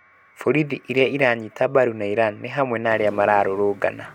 Borithi iria iranyita mbaru na Iran ni hamwe na aria mararũrũngana.